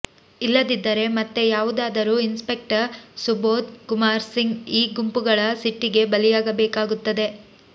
ಇಲ್ಲದಿದ್ದರೆ ಮತ್ತೆ ಯಾವುದಾದರೂ ಇನ್ಸ್ಪೆಕ್ಟರ್ ಸುಬೋಧ್ ಕುಮಾರ್ ಸಿಂಗ್ ಈ ಗುಂಪುಗಳ ಸಿಟ್ಟಿಗೆ ಬಲಿಯಾಗಬೇಕಾಗುತ್ತದೆ